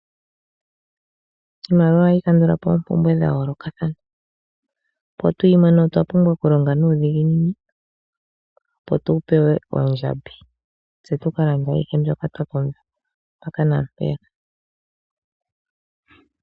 Iimaliwa ohayi kandula po oompumbwe dha yoolokathana. Opo tu yi mone otwa pumbwa okulonga nuudhiginini, opo tu pewe oondjambi tse tu ka longe ayihe mbyoka twa pumbwa mpaka naa mpeya ka.